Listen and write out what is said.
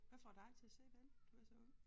Hvad får dig til at se den? Du er så ung